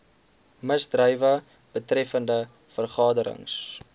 misdrywe betreffende vergaderings